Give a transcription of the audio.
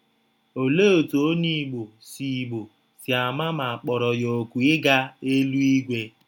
Ọlee ọtụ Ọnye Igbọ si Igbọ si ama ma à kpọrọ ya òkù ịga eluigwe?